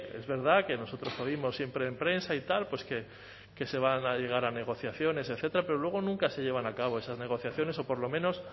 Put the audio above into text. es verdad que nosotros oímos siempre en prensa y tal pues que se va a llegar a negociaciones etcétera pero luego nunca se llevan a cabo esas negociaciones o por lo menos